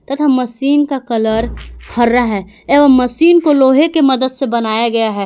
तथा मशीन का कलर हरा है एवं मशीन को लोहे की मदद से बनाया गया है।